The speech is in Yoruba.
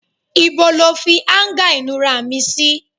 Ìbò lọ fi anga inura mí sí?